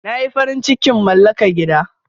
Na yi farin cikin malaka gida.